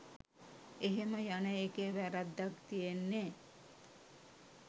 එහෙම යන එකේ වැරැද්දක් තියෙන්නේ